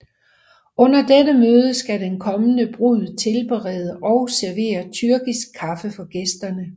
Under dette møde skal den kommende brud tilberede og servere tyrkisk kaffe for gæsterne